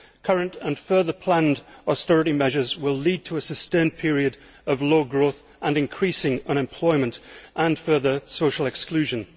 Current and further planned austerity measures will lead to a sustained period of low growth, increasing unemployment and further social exclusion.